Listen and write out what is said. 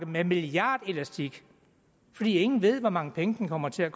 med en milliardelastik fordi ingen ved hvor mange penge den kommer til at